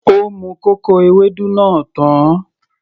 Ó mu kòkò Ewédú náà tán